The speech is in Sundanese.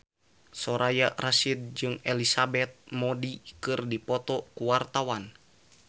Soraya Rasyid jeung Elizabeth Moody keur dipoto ku wartawan